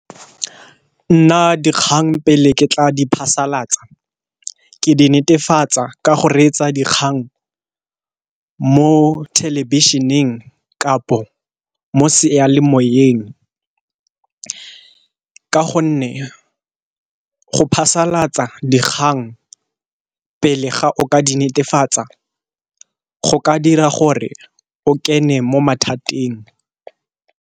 Nna dikgang pele ke tla di phasalatsa ke di netefatsa ka go reetsa dikgang mo thelebišeneng kapo mo sealemoyeng, ka gonne go phasalatsa dikgang pele ga o ka di netefatsa go ka dira gore o kene mo mathateng.